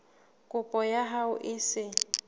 kopo ya hao e se